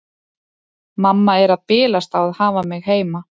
Mamma er að bilast á að hafa mig heima.